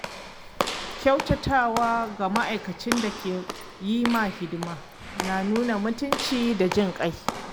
Kyautatawa ga ma’aikacin da ke yi maka hidima na nuna mutunci da jinƙai.